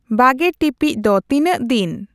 ᱵᱟᱜᱮ ᱴᱤᱯᱤᱡ ᱫᱚ ᱛᱤᱱᱟᱹᱜ ᱫᱤᱱ